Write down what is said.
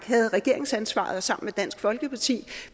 havde regeringsansvaret sammen med dansk folkeparti vi